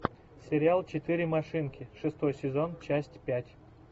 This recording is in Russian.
сериал четыре машинки шестой сезон часть пять